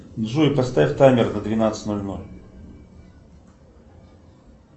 джой поставь таймер на двенадцать ноль ноль